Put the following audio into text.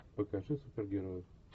покажи супергероев